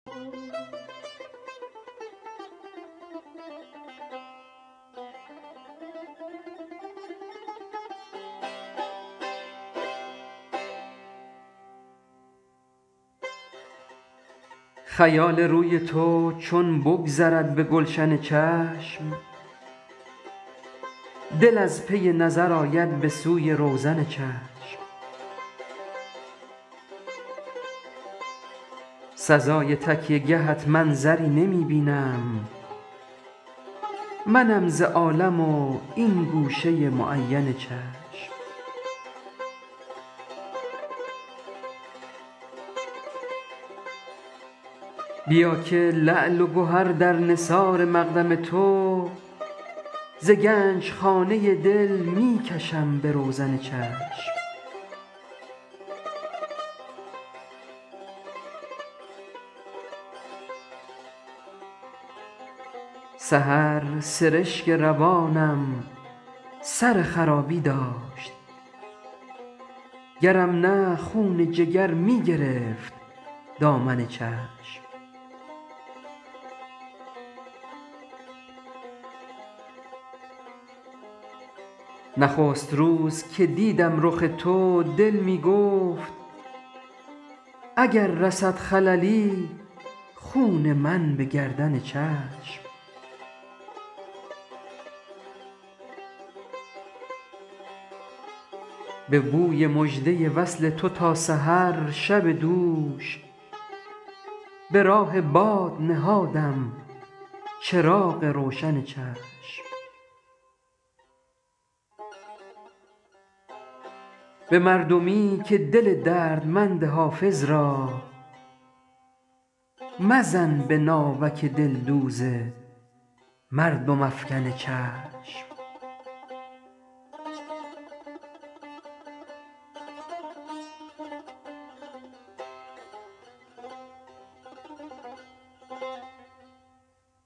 خیال روی تو چون بگذرد به گلشن چشم دل از پی نظر آید به سوی روزن چشم سزای تکیه گهت منظری نمی بینم منم ز عالم و این گوشه معین چشم بیا که لعل و گهر در نثار مقدم تو ز گنج خانه دل می کشم به روزن چشم سحر سرشک روانم سر خرابی داشت گرم نه خون جگر می گرفت دامن چشم نخست روز که دیدم رخ تو دل می گفت اگر رسد خللی خون من به گردن چشم به بوی مژده وصل تو تا سحر شب دوش به راه باد نهادم چراغ روشن چشم به مردمی که دل دردمند حافظ را مزن به ناوک دلدوز مردم افکن چشم